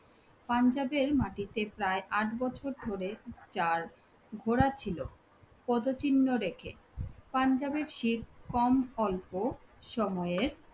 পাঞ্জাবের মাটিতে প্রায় আট বছর ধরে পদ চিহ্ন রেখে, পাঞ্জাবের কম অল্প সময়ের